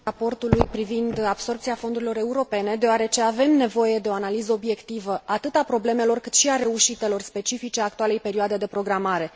...raportului privind absorbția fondurilor europene, deoarece avem nevoie de o analiză obiectivă atât a problemelor, cât și a reușitelor specifice actualei perioade de programare.